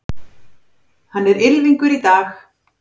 Hann er ylfingur í dag.